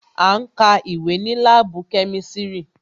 À ń ka ìwé ní láàbù kemisiri